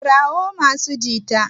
kirawo masu jita!